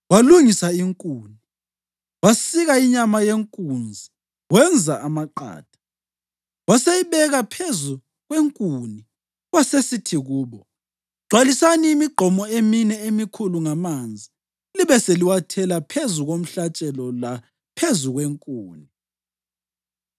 Walungisa inkuni, wasika inyama yenkunzi wenza amaqatha, waseyibeka phezu kwenkuni. Wasesithi kubo, “Gcwalisani imigqomo emine emikhulu ngamanzi libe seliwathela phezu komhlatshelo laphezu kwenkuni.”